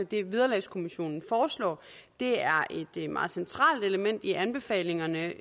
det vederlagskommissionen foreslår det er et meget centralt element i anbefalingerne